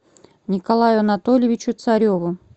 николаю анатольевичу цареву